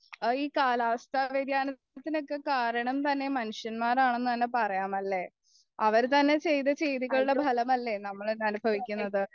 ഈ കാലാവസ്ഥാ വ്ര്യതിയാനത്തിനൊക്കെ കാരണം തന്നെ മനുഷ്യന്മാരാണെന്നു പറയമല്ലേ അവരുത്തന്നെ ചെയ്ത ചെയ്തികളുടെ ഫലമല്ലേ നമ്മൾ അനുഭവിക്കുന്നത്